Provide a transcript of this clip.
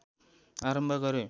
आरम्भ गरे